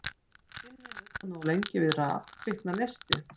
Ef skinni er nuddað nógu lengi við raf kviknar neisti.